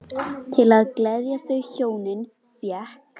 Til að gleðja þau hjónin fékk